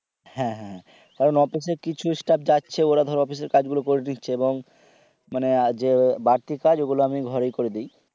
হ্যাঁ হ্যাঁ অফিসের কিছু staff যাচ্ছে ওরা ধরো অফিসের কাজগুলো করে দিচ্ছে এবং মানে আজও বাড়তি কাজ আমি ঘর থেকে করে দিই।